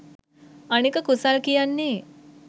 අනික කුසල් කියන්නේ